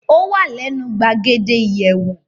Ó wà lẹ́nu gbàgede ìyẹ̀wò.